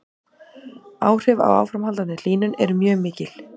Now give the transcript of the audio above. Áhrif af áframhaldandi hlýnun eru mjög mikil.